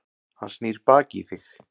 Hann snýr baki í þig.